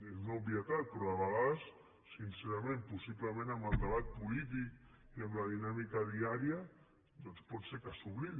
és una obvietat però de vegades sincerament possiblement amb el debat polític i amb la dinàmica diària doncs pot ser que s’oblidi